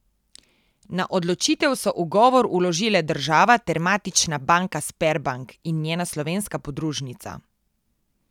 Na odločitev so ugovor vložile država ter matična banka Sberbank in njena slovenska podružnica.